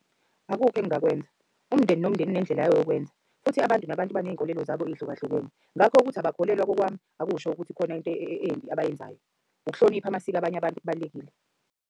Akukho engingakwenza umndeni nomndeni unendlela yawo yokwenza. Futhi abantu nabantu baney'nkolelo zabo ey'hlukahlukene. Ngakho ukuthi abakholelwa kokwami akusho ukuthi kukhona into embi abayenzayo. Ukuhlonipha amasiko abanye abantu kubalulekile.